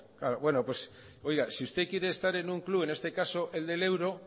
claro pues oiga si usted quiere estar en un club en este caso el del euro